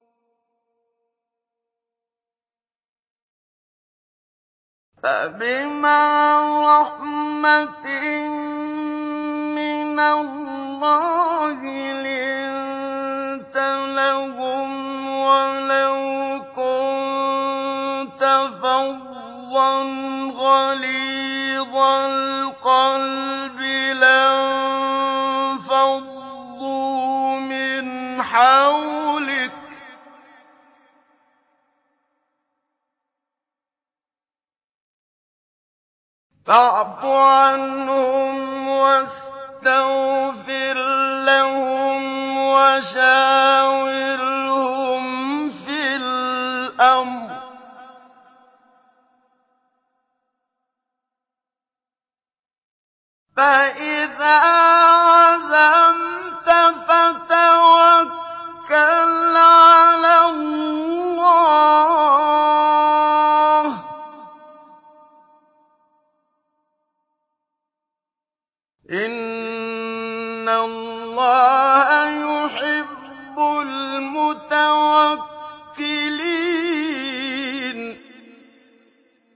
فَبِمَا رَحْمَةٍ مِّنَ اللَّهِ لِنتَ لَهُمْ ۖ وَلَوْ كُنتَ فَظًّا غَلِيظَ الْقَلْبِ لَانفَضُّوا مِنْ حَوْلِكَ ۖ فَاعْفُ عَنْهُمْ وَاسْتَغْفِرْ لَهُمْ وَشَاوِرْهُمْ فِي الْأَمْرِ ۖ فَإِذَا عَزَمْتَ فَتَوَكَّلْ عَلَى اللَّهِ ۚ إِنَّ اللَّهَ يُحِبُّ الْمُتَوَكِّلِينَ